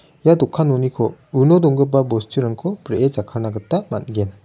ia dokanoniko uno donggipa bosturangko bree jakkalna gita man·gen.